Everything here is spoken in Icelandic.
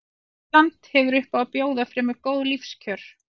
Ísland hefur upp á að bjóða fremur góð lífskjör.